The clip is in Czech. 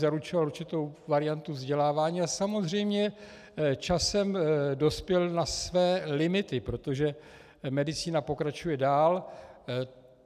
Zaručoval určitou variantu vzdělávání a samozřejmě časem dospěl na své limity, protože medicína pokračuje dál.